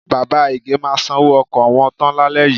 Bàbá Ìgè máa sanwó ọkọ̀ wọn tán lálẹ́ yìí.